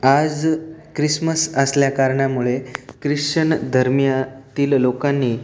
आज क्रिसमस असल्या कारणामुळे ख्रिश्चन धर्मीया तील लोकानी --